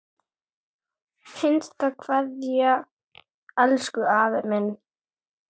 HINSTA KVEÐJA Elsku afi minn.